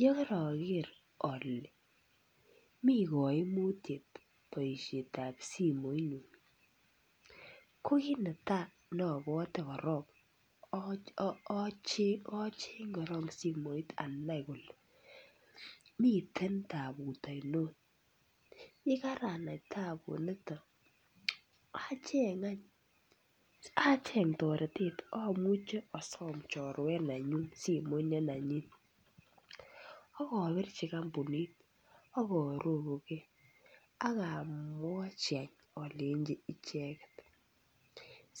Yeoker ole mi kaimutiet boisietab simenyun ko kit netai nobwoti kook ocheng'e eng simoit anai ole miten tabut ainot. Yekaanyoru tabuni acheng toretet asom choruenyun simoit ne nenyin aobirji kampunit akaarorukei alenji icheket